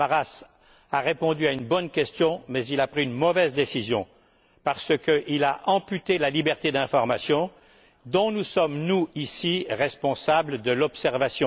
Samaras a répondu à une bonne question, mais il a pris une mauvaise décision, parce qu'il a amputé la liberté d'information, que nous sommes, ici, responsables de faire observer.